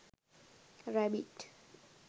rabbit